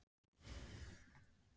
Ég væri fegnust að hafa ekki fæðst.